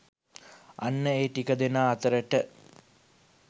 අන්න ඒ ටික දෙනා අතරට